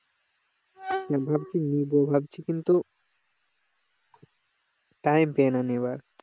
ভাবছি কিন্তু time পেই না নেওয়ার